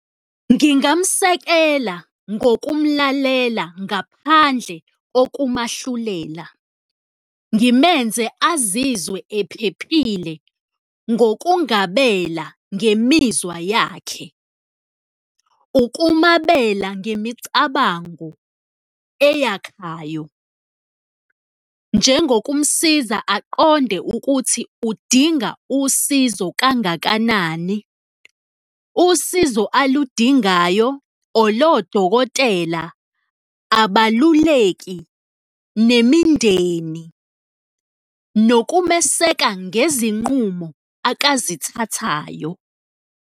Ngingamsekela ngokumlalela ngaphandle kokumahlulela, ngimenze azizwe ephephile ngokungabela ngemizwa yakhe, ukumabela ngemicabango eyakhayo njengokumsiza aqonde ukuthi udinga usizo kangakanani, usizo aludingayo or lowo dokotela, abaluleki nemindeni nokumeseka ngezinqumo akazithathayo.